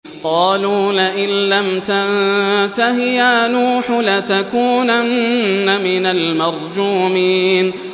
قَالُوا لَئِن لَّمْ تَنتَهِ يَا نُوحُ لَتَكُونَنَّ مِنَ الْمَرْجُومِينَ